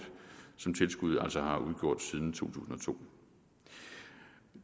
som tilskuddet altså har udgjort siden to tusind og to